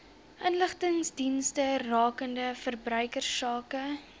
inligtingsdienste rakende verbruikersake